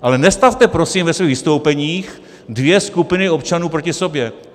Ale nestavte prosím ve svých vystoupeních dvě skupiny občanů proti sobě.